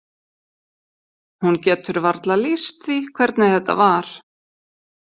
Hún getur varla lýst því hvernig þetta var.